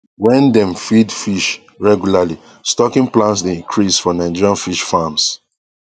wen dem feed fish regularly stocking plans dey increase for nigerian fish farms